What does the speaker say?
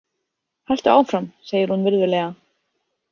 Haltu áfram, segir hún virðulega.